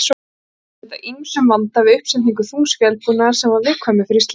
Olli þetta ýmsum vanda við uppsetningu þungs vélbúnaðar sem var viðkvæmur fyrir slíku.